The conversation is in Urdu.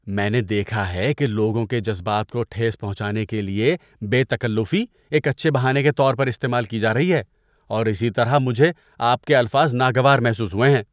میں نے دیکھا ہے کہ لوگوں کے جذبات کو ٹھیس پہنچانے کے لیے بے تکلفی ایک اچھے بہانے کے طور پر استعمال کی جا رہی ہے اور اسی طرح مجھے آپ کے الفاظ ناگوار محسوس ہوئے ہیں۔